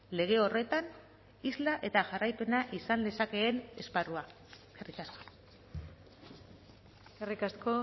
lege horretan isla eta jarraipena izan lezakeen esparrua eskerrik asko eskerrik asko